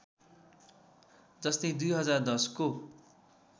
जस्तै २०१० को